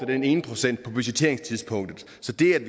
den ene procent på budgetteringstidspunktet